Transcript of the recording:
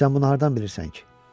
Sən bunu hardan bilirsən ki?